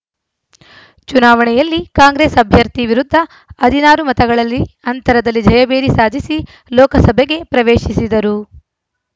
ಚುನಾವಣೆಯಲ್ಲಿ ಕಾಂಗ್ರೆಸ್‌ ಅಭ್ಯರ್ಥಿ ವಿರುದ್ಧ ಹದಿನಾರು ಮತಗಳಲ್ಲಿ ಅಂತರದಲ್ಲಿ ಜಯಭೇರಿ ಸಾಧಿಸಿ ಲೋಕಸಭೆಗೆ ಪ್ರವೇಶಿಸಿದರು